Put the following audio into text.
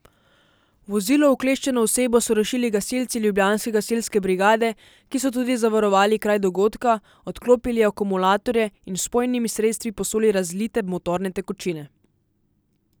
V vozilo ukleščeno osebo so rešili gasilci ljubljanske gasilske brigade, ki so tudi zavarovali kraj dogodka, odklopili akumulatorje in z vpojnimi sredstvi posuli razlite motorne tekočine.